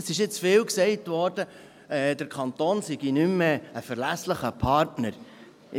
Es wurde jetzt oft gesagt, der Kanton sei kein verlässlicher Partner mehr.